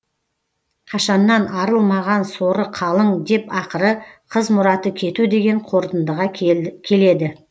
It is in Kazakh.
қашаннан арылмаған соры қалың деп ақыры қыз мұраты кету деген қорытындыға келеді